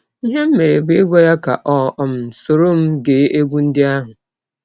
Ihe m mere bụ ịgwa ya ka ọ um sọrọ m gee egwụ ndị ahụ.